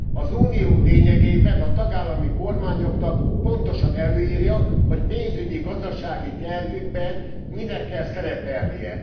Az Unió lényegében a tagállami kormányoknak pontosan előírja, hogy pénzügyi gazdasági tervükben minek kell szerepelnie.